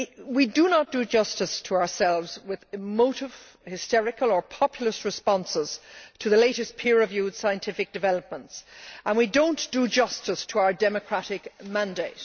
We do not do justice to ourselves with emotive, hysterical or populist responses to the latest peer reviewed scientific developments, and we do not do justice to our democratic mandate.